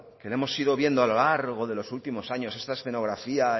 que la hemos ido viendo a lo largo de los últimos años esta escenografía